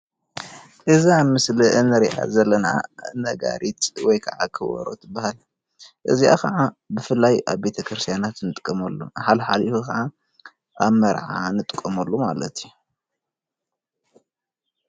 እዚ ኣብ ምስሊ እንሪኣ ዘለና ነጋሪት ወይ ከዓ ከበሮ እትባሃል ፡፡ እዚ ከዓ ብፍላይ ኣብ ቤተክርስትያናት እንጥቀመሉ ሓልሓልፉ ከዓ ኣብ መርዓ እንጥቀመሉ ማለት እዩ፡፡